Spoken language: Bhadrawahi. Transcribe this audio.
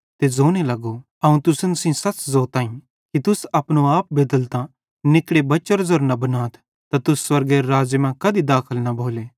ते ज़ोने लगो अवं तुसन सेइं सच़ ज़ोताईं कि तुस अपनो आप बेदलतां निकड़े बच्चेरो ज़ेरे न बनथ त तुस स्वर्गेरे राज़्ज़े मां कधी दाखल न भोले